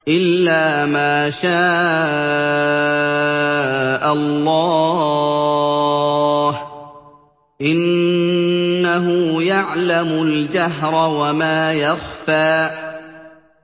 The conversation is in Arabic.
إِلَّا مَا شَاءَ اللَّهُ ۚ إِنَّهُ يَعْلَمُ الْجَهْرَ وَمَا يَخْفَىٰ